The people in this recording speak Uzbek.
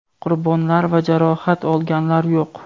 qurbonlar va jarohat olganlar yo‘q.